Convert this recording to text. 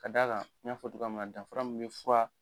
Ka d'a kan, n y'a fɔ cogoya min danfara min bɛ fura